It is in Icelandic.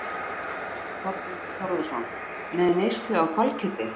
Þorbjörn Þórðarson: Með neyslu á hvalkjöti?